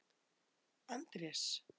Andrés